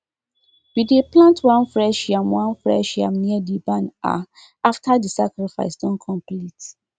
we dey plant one fresh yam one fresh yam near the barn um after the sacrifice don complete